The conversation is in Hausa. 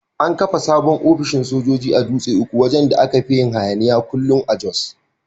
An kafa sabon ofishin sojoji a Dutse uku wajan da aka fin yin hayaniya kullum a Jos.